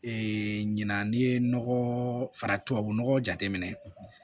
ɲina n'i ye nɔgɔ fara tubabu nɔgɔ jateminɛ